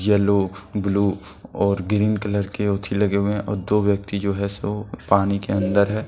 Yellow blue और green colour के ऊंची लगे हुए हैं और दो व्यक्ति जो है सो पानी के अंदर है।